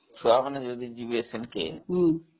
ଛୁଆ ମାନେ ସେଠିକି ଯିବାକୁ ଚାହୁଁଛନ୍ତି ହଁ